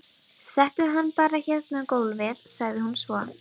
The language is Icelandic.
Settu hann bara hérna á gólfið, sagði hún svo.